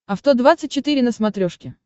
авто двадцать четыре на смотрешке